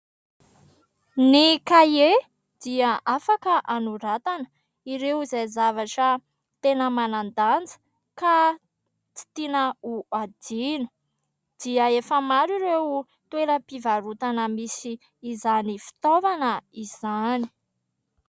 Ny "cahier" dia afaka anoratana ireo izay zavatra tena manan-danja ka tsy tiana ho adino dia efa maro ireo toeram-pivarotana misy izany fitaovana izany.